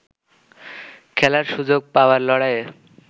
খেলার সুযোগ পাওয়ার লড়াইয়ে